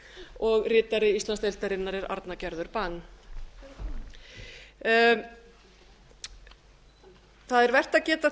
og ritari íslandsdeildarinnar er arna gerður bang það er vert að geta þess